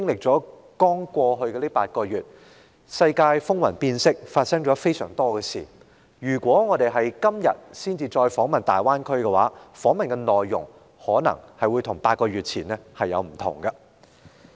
在過去的8個月期間，世界風雲變色，發生了許多事，假如我們今天才訪問大灣區，則訪問的內容可能會與8個月前大有不同。